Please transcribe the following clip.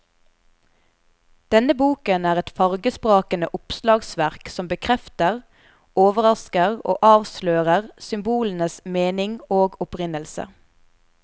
Denne boken er et fargesprakende oppslagsverk som bekrefter, overrasker og avslører symbolenes mening og opprinnelse.